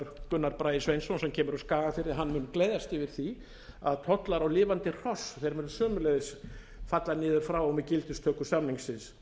gunnar bragi sveinsson sem kemur úr skagafirði mun gleðjast yfir því að tollar á lifandi hross munu sömuleiðs falla niður frá og með gildistöku samningsins